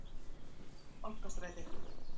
Bankastræti